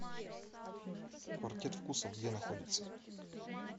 квартет вкусов где находится